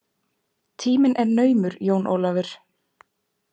Tíminn er naumur Jón Ólafur!